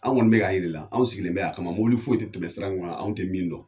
Anw kɔni bɛ k'a jira i la , anw sigilen bɛ yan a kama, mɔbili foyi tɛ tɛmɛ sira in kan anw tɛ min dɔn!